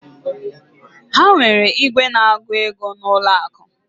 Ha nwere igwe na agu ego na ụlọ akụ.